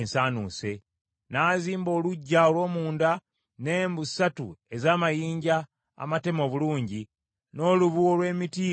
N’azimba oluggya olw’omunda n’embu ssatu ez’amayinja amateme obulungi, n’olubu olw’emiti egy’emivule.